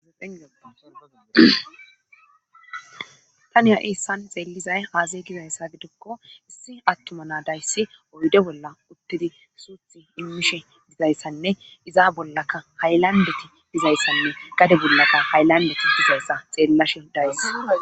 Eatani ha7i issan xeellizay aase gizayssa gidokko issi attuma naadayssi oyde bolla uttidi suuthi immishe dizayssanne izaa bollaka haylandeti dizayssanne gade bunlaka haylandeti dizayssa xeellashe dayss.